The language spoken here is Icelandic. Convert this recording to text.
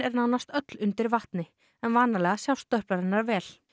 nánast öll undir vatni vanalega sjást stöplar hennar vel